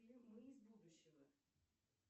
фильм мы из будущего